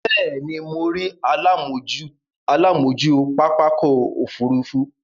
Bẹ́ẹ̀ ni, mo rí alámòójú pápákọ̀-òfurufú.